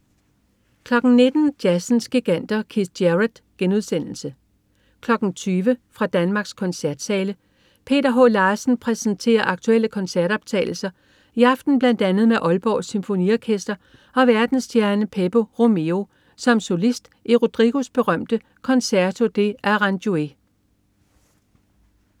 19.00 Jazzens giganter. Keith Jarrett* 20.00 Fra Danmarks Koncertsale. Peter H. Larsen præsenterer aktuelle koncertoptagelser, i aften bl.a. med Aalborg Symfoniorkester og verdensstjernen Pepe Romero som solist i Rodrigos berømte Concerto de Aranjuez